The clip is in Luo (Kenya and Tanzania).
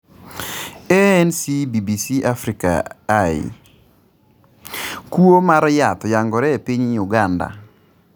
ANC BBC Africa Eye: Kuo mar yath oyangore e piny Uganda